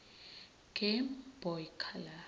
game boy color